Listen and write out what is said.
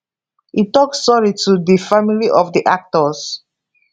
e tok sorry to di family of di actors